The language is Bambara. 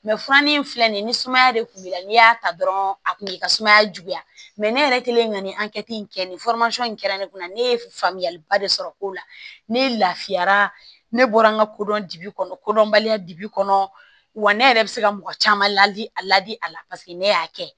furani filɛ nin ye ni sumaya de kun b'i la n'i y'a ta dɔrɔn a kun bi ka sumaya juguya mɛ ne yɛrɛ kelen ka nin in kɛ nin in kɛra ne kunna ne ye faamuya ba de sɔrɔ ko la ne lafiyara ne bɔra n ka kodɔn kodɔnbaliya dibi kɔnɔ wa ne yɛrɛ bɛ se ka mɔgɔ caman ladi a ladi a la paseke ne y'a kɛ